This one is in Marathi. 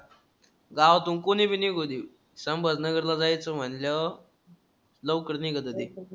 गावातून कोणीबी निघू दे. संभाजीनगरला जायचं म्हणल्यावर लवकर निघतं ते.